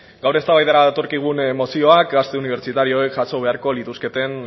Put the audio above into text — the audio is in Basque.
gaur eztabaidara datorkigun mozioa gazte unibertsitarioek jaso beharko lituzketen